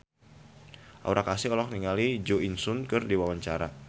Aura Kasih olohok ningali Jo In Sung keur diwawancara